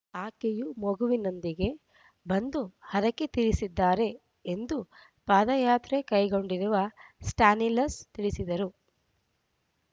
ಆಕೆಯೂ ಮಗುವಿನೊಂದಿಗೆ ಬಂದು ಹರಕೆ ತೀರಿಸಿದ್ದಾರೆ ಎಂದು ಪಾದಯಾತ್ರೆ ಕೈಗೊಂಡಿರುವ ಸ್ಟ್ಯಾನಿಲಸ್‌ ತಿಳಿಸಿದರು